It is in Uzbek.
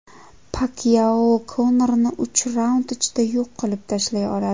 Pakyao Konorni uch raund ichida yo‘q qilib tashlay oladi.